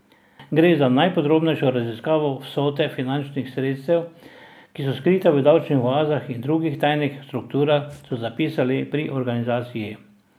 Gre za najpodrobnejšo raziskavo vsote finančnih sredstev, ki so skrita v davčnih oazah in drugih tajnih strukturah, so zapisali pri organizaciji.